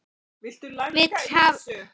Vill hafa börnin svo fín.